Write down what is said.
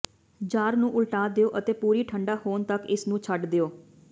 jar ਨੂੰ ਉਲਟਾ ਦਿਓ ਅਤੇ ਪੂਰੀ ਠੰਢਾ ਹੋਣ ਤਕ ਇਸ ਨੂੰ ਛੱਡ ਦਿਓ